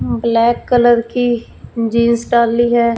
Black colour की jeans डाली है।